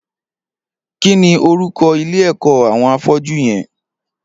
Kini órúkọ̀ ilé ẹkọ awọn áfọ̀jù yèn?